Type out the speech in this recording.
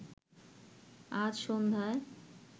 আজ সন্ধ্যায়